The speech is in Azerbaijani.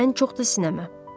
Ən çox da sinəmə.